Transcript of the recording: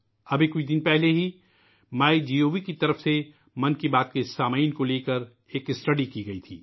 ابھی کچھ دن پہلے ہی میگو کی طرف سے '' من کی بات '' کے سامعین کے بارے میں ایک مطالعہ کیا گیا تھا